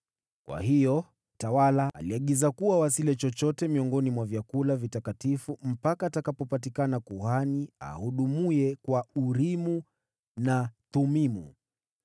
Kwa hiyo, mtawala aliagiza kuwa wasile chochote miongoni mwa vyakula vitakatifu hadi kuwe kuhani atakayehudumu kwa Urimu na Thumimu.